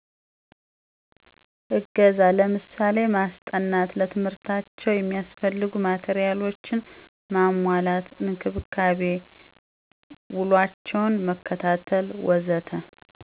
እገዛ ለምሳሌ ማስጠናት፣ ለትምህርታቸው የሚያስፈልጉ ማቴሪያሎችን ማሟላት፣ እንክብካቤ፣ ውሏቸውን መከታተል ወዘተ....